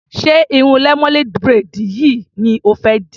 Ṣé irun lemonade braid yìí ni o fẹ́ dì?